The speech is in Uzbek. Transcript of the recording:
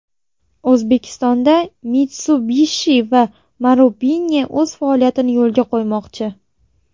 O‘zbekistonda Mitsubishi va Marubeni o‘z faoliyatini yo‘lga qo‘ymoqchi .